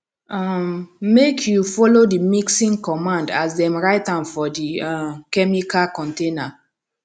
um make you follow the mixing cmmand as dem write am for the um chemicals container